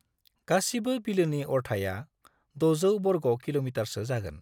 गासिबो बिलोनि अरथाइया 600 बर्ग किल'मीटारसो जागोन।